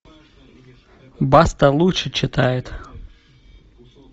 баста лучше читает